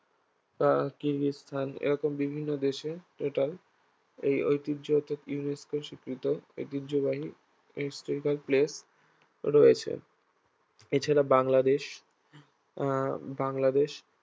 আহ তিন স্থান এরকম বিভিন্ন দেশে এটাই এই ঐতিহ্যকে UNESCO স্বীকৃত ঐতিহ্যবাহী historical place রয়েছে এছাড়া বাংলাদেশ আহ বাংলাদেশ